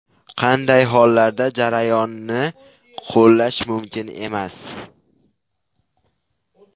Qanday hollarda jarayonni qo‘llash mumkin emas?